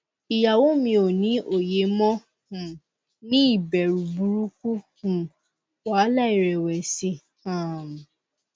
iyawo mi o ni oye mo um ni iberu buruku um wahala irewesi um